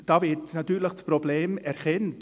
Hier wird das Problem erkannt.